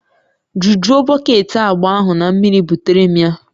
Jujuo bọket agba ahụ na mmiri butere m ya